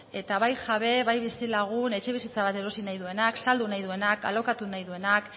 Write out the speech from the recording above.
eta bai jabe bai bizilagun etxebizitza bat erosi nahi duenak saldu nahi duenak alokatu nahi duenak